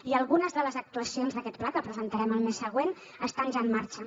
i algunes de les actuacions d’aquest pla que presentarem el mes següent estan ja en marxa